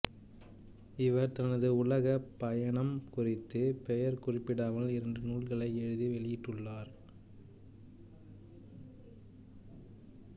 இவர் தனது உலகப் பயணம் குறித்து பெயர் குறிப்பிடாமல் இரண்டு நூல்களை எழுதி வெளியிட்டுள்ளார்